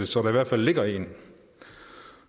så der i hvert fald ligger en